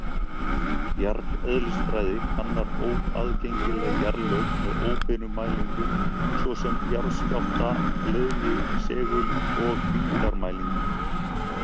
Jarðeðlisfræði kannar óaðgengileg jarðlög með óbeinum mælingum, svo sem jarðskjálfta-, leiðni-, segul- og þyngdarmælingum.